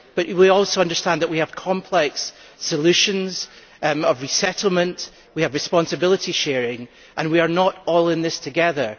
But we also understand that we have complex solutions concerning resettlement, we have responsibility sharing and we are not all in this together.